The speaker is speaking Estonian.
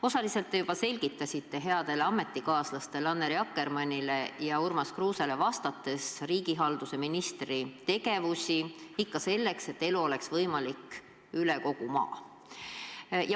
Osaliselt te juba selgitasite headele ametikaaslastele Annely Akkermannile ja Urmas Kruusele vastates riigihalduse ministri tegevusi selle nimel, et elu oleks võimalik üle kogu maa.